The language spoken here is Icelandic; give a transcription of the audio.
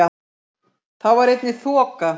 Þá var einnig þoka